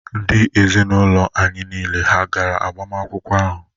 Ndị ezinụlọ anyị niile hà gara agbamakwụkwọ ahụ?